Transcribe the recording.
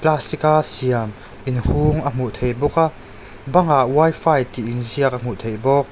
plastic a siam in hung a hmuh theih bawk a bang ah wifi tih inziak a hmuh theih bawk.